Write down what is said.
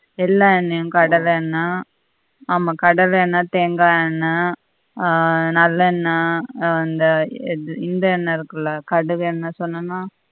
எல்லா எண்ணையும் கடல எண்ண ஆமா கடல எண்ண, தேங்காய் எண்ண ஆஹ் நல்லண்ண வந்து எது இந் எண்ண இருக்கு இல்ல கடுகு எண்ண சொன்னனா